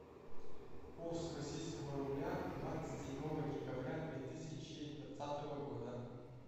курс российского рубля двадцать седьмого декабря две тысячи двадцатого года